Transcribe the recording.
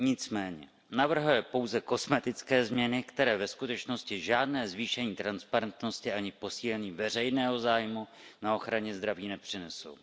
Nicméně navrhuje pouze kosmetické změny, které ve skutečnosti žádné zvýšení transparentnosti ani posílení veřejného zájmu na ochraně zdraví nepřinesou.